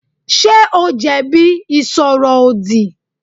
Ṣé o jẹ̀bi ìsọ̀rọ̀-òdì?